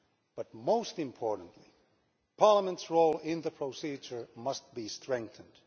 But most importantly, Parliament's role in the procedure must be strengthened.